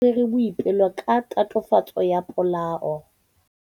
Maphodisa a tshwere Boipelo ka tatofatsô ya polaô.